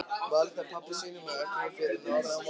Valda pabba sínum og öllum fyrir norðan vonbrigðum.